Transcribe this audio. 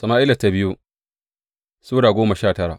biyu Sama’ila Sura goma sha tara